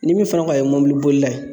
Ni min fana ko a ye mɔbili bolila ye